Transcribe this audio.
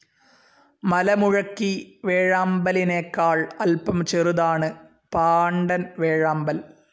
മലമുഴക്കി വേഴാമ്പലിനേക്കാൾ അല്പം ചെറുതാണ് പാണ്ടൻ വേഴാമ്പൽ.